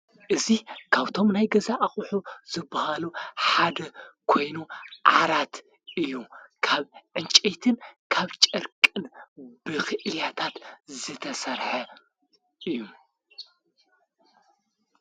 እዚ ካብቶም ናይ ገዛ ኣቅሑ ዝበሃሉ ሓደ ኮይኑ ዓራት እዩ ካብ ዕንቄይትን ካብ ጨርቅን ብኽእልያታት ዝተሠርሐ እዩ::